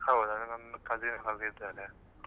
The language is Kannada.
ಹೌದಾ ನಮ್ cousin ಅಲ್ಲಿದ್ದಾರೆ.